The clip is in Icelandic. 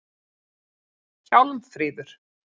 Hjálmfríður